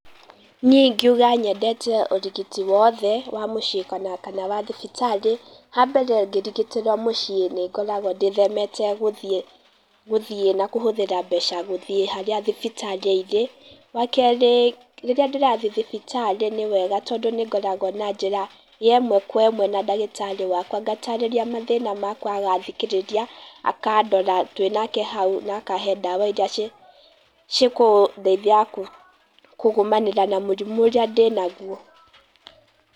Niĩ ingiuga nyendete ũrigiti woothe wa mũcĩĩ kana wa thibitarĩ, ha mbere ngĩrigitĩrwo mũcĩĩ nĩngoragwo ndĩthemete gũthiĩ gũthiĩ na kũhũthĩra mbeca gũthĩe harĩa thibitarĩ irĩ. Wa kerĩ, rĩrĩa ndĩrathĩe thibitarĩ nĩwega tondũ nĩngoragwo na njĩra ya ĩmwe kwa ĩmwe na ndagĩtarĩ wakwa ngatarĩria mathĩna makwa agathikĩrĩria, akandora twĩ nake hau na akahe ndawa iria cĩ cikũdeithia kũ kũgũmanĩra na mũrimũ ũrĩa ndĩ naguo.